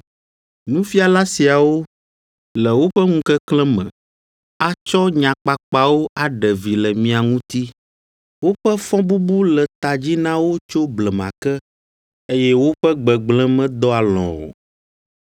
Nufiala siawo, le woƒe ŋukeklẽ me, atsɔ nya kpakpawo aɖe vi le mia ŋuti. Woƒe fɔbubu le ta dzi na wo tso blema ke, eye woƒe gbegblẽ medɔ alɔ̃ o.